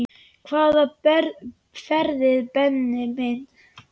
Hvaða ferðir Benni minn?